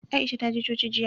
Aisha ta je coci jiya.